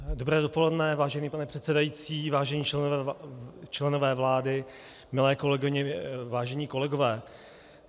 Dobré dopoledne, vážený pane předsedající, vážení členové vlády, milé kolegyně, vážení kolegové.